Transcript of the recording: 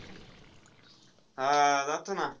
हा आह जातो ना.